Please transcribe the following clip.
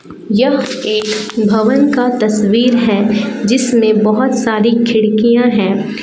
यह एक भवन का तस्वीर है जिसमें बहुत सारी खिड़कियां है।